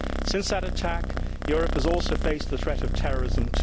Since that attack, Europe too has faced the threat of terrorism.